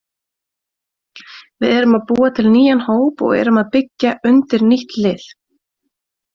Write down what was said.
Við erum að búa til nýjan hóp og erum að byggja undir nýtt lið.